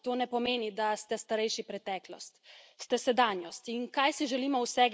Nasprotno, ker če smo mladi prihodnost, to ne pomeni, da ste starejši preteklost.